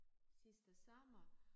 Sidste sommer